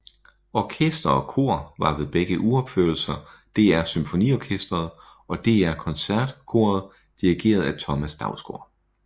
Orkester og kor var ved begge uropførelser DR SymfoniOrkestret og DR Koncertkoret dirigeret af Thomas Dausgaard